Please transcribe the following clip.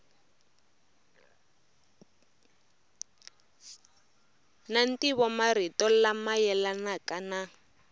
na ntivomarito lama yelanaka na